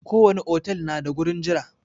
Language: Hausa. Ko wani otal na da gurin jira.